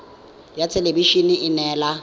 ya thelebi ene e neela